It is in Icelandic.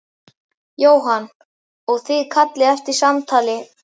Jóhann: Og þið kallið eftir samtali?